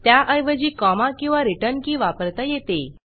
त्याऐवजी कॉमा किंवा return key वापरता येते